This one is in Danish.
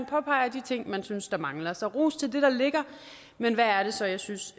påpege de ting man synes der mangler så ros til det der ligger men hvad er det så jeg synes